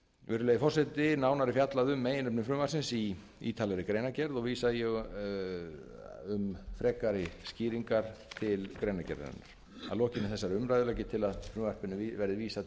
virðulegi forseti nánar er fjallað um meginefni frumvarpsins í ítarlegri greinargerð og vísa ég um frekari skýringar til hennar að lokinni þessari umræðu legg ég til að frumvarpinu verði vísað